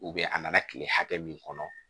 a nana kile hakɛ min kɔnɔ